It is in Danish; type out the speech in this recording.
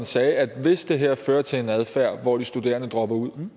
sagde at hvis det her fører til en adfærd hvor de studerende dropper ud